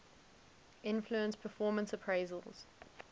influence performance appraisals